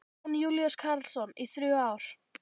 Jón Júlíus Karlsson: Í þrjú ár?